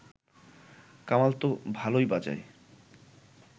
কামাল ত ভালই বাজায়